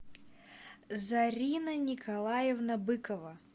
зарина николаевна быкова